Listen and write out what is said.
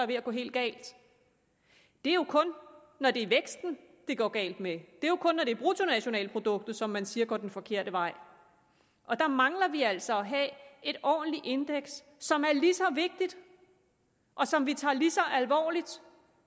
ved at gå helt galt det er jo kun når det er væksten det går galt med det er jo kun når det er bruttonationalproduktet der som man siger går den forkerte vej og der mangler vi altså at have et ordentligt indeks som er lige så vigtigt og som vi tager lige så alvorligt